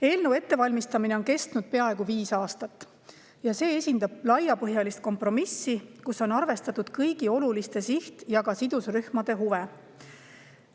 Eelnõu ettevalmistamine on kestnud peaaegu viis aastat ja see esindab laiapõhjalist kompromissi, kus on arvestatud kõigi oluliste siht‑ ja sidusrühmade huve.